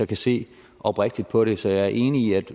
kan se oprigtigt på det så jeg er enig i at